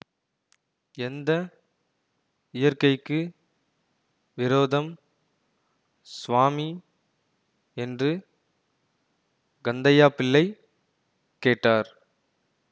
எந்த இயற்கைக்கு விரோதம் ஸ்வாமி என்று கந்தையாபிள்ளை கேட்டார்